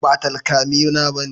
Ba takalmina bane